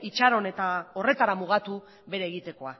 itxaron eta horretara mugatu bere egitekoa